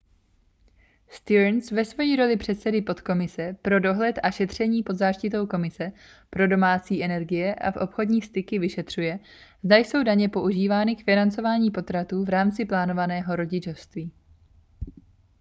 stearns ve své roli předsedy podkomise pro dohled a šetření pod záštitou komise pro domácí energie a obchodní styky vyšetřuje zda jsou daně používány k financování potratů v rámci plánovaného rodičovství